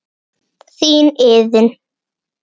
Þín Iðunn.